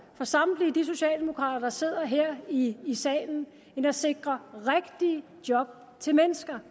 for samtlige de socialdemokrater der sidder her i salen end at sikre rigtige job til mennesker